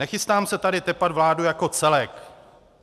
Nechystám se tady tepat vládu jako celek.